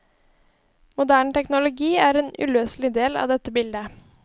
Moderne teknologi er en uløselig del av dette bildet.